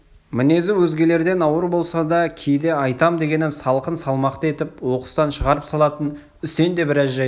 мінезі өзгелерден ауыр болса да кейде айтам дегенін салқын салмақты етіп оқыстан шығарып салатын үсен де бір жайды